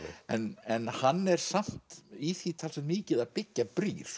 en hann er samt í því talsvert mikið að byggja brýr